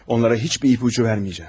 Onlara heç bir ipucu verməyəcəm.